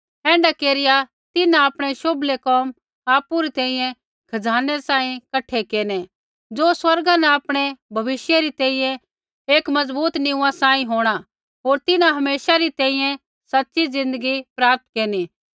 ऐण्ढा केरिया तिन्हां आपणै शोभलै कोम आपु री तैंईंयैं खजानै सांही कठै केरनै ज़ो स्वर्गा न आपणै भविष्य री तैंईंयैं एक मजबूत नीमा सांही होंणा होर तिन्हां हमेशा री तैंईंयैं सच़ी ज़िन्दगी प्राप्त केरनी